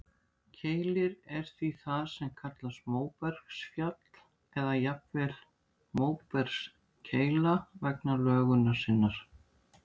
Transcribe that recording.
Keilir er því það sem kallast móbergsfell, eða jafnvel móbergskeila vegna lögunar sinnar.